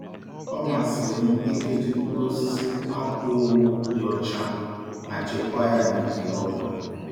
Ọ masịrị m ikechi mkpụrụ osisi na akwa owu dị ọcha ma chekwaa ya n'ite rọba.